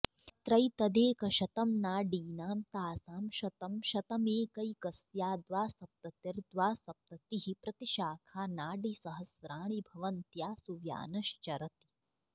अत्रैतदेकशतं नाडीनां तासां शतं शतमेकैकस्या द्वासप्ततिर्द्वासप्ततिः प्रतिशाखानाडीसहस्राणि भवन्त्यासु व्यानश्चरति